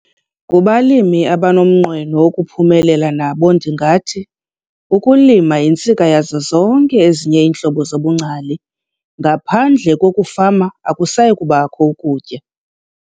Kubalimi abanomnqweno wokuphumelela nabo ndingathi- "Ukulima yintsika yazo zonke ezinye iintlobo zobungcali - ngaphandle kokufama akusayi kubakho kutya."